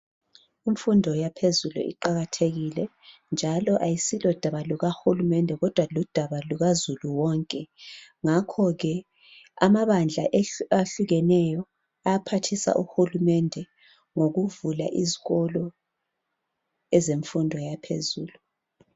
Imfundo yaphezulu iqakathekile, njalo ayisilodaba lukahulumende kodwa, ludaba lukazulu wonke. Ngakho ke, amabandla ahlukeneyo, ayaphathisa uhulumende, ngokuvula izikolo ezemfundo yaphezulu.